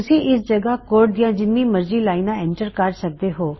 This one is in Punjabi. ਤੁਸੀ ਇਸ ਜਗਹ ਕੋਡ ਦਿਆਂ ਜਿੱਨੀ ਮਰਜੀ ਲਾਇਨਾ ਐਂਟਰ ਕਰ ਸਕਦੇ ਹੋਂ